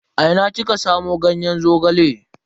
A ina kika samu ganyen Zogale?